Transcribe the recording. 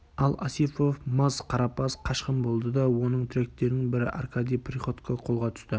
ал осипов мас-қарапаз қашқын болды да оның тіректерінің бірі аркадий приходько қолға түсті